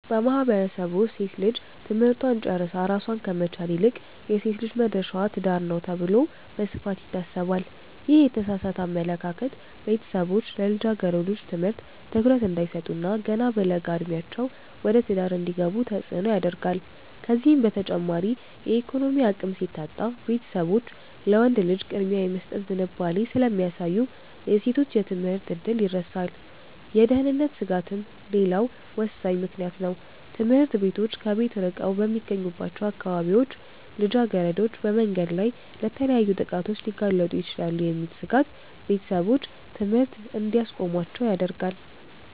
በማህበረሰቡ ውስጥ ሴት ልጅ ትምህርቷን ጨርሳ ራሷን ከመቻል ይልቅ "የሴት ልጅ መድረሻዋ ትዳር ነው" ተብሎ በስፋት ይታሰባል። ይህ የተሳሳተ አመለካከት ቤተሰቦች ለልጃገረዶች ትምህርት ትኩረት እንዳይሰጡ እና ገና በለጋ ዕድሜያቸው ወደ ትዳር እንዲገቡ ተጽዕኖ ያደርጋል። ከዚህም በተጨማሪ የኢኮኖሚ አቅም ሲታጣ፣ ቤተሰቦች ለወንድ ልጅ ቅድሚያ የመስጠት ዝንባሌ ስለሚያሳዩ የሴቶች የትምህርት ዕድል ይረሳል። የደህንነት ስጋትም ሌላው ወሳኝ ምክንያት ነው፤ ትምህርት ቤቶች ከቤት ርቀው በሚገኙባቸው አካባቢዎች ልጃገረዶች በመንገድ ላይ ለተለያዩ ጥቃቶች ሊጋለጡ ይችላሉ የሚል ስጋት ቤተሰቦች ትምህርት እንዲያስቆሟቸው ያደርጋል።